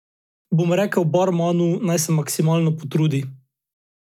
Bom rekel barmanu, naj se maksimalno potrudi.